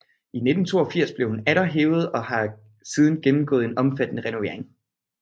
I 1982 blev hun atter hævet og har siden gennemgået en omfattende renovering